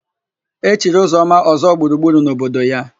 E chiri Ụzọma Ọ́zọ́gburugburu n'obodo ya.